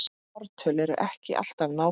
Ártöl eru ekki alltaf nákvæm